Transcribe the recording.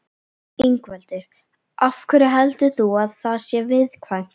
Ingveldur: Af hverju heldur þú að það sé viðkvæmt?